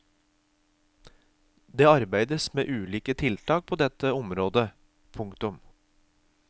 Det arbeides med ulike tiltak på dette området. punktum